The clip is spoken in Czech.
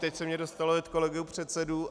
Teď se mi dostalo od kolegů předsedů.